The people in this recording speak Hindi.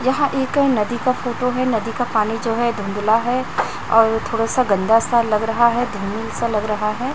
वहाँ एक नदी का फोटो है नदी का पानी जो है धुँधला है और थोड़ा सा गन्दा सा लग रहा है धूमिल सा लग रहा है।